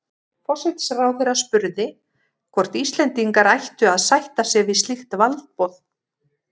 Forsætisráðherra spurði, hvort Íslendingar ættu að sætta sig við slíkt valdboð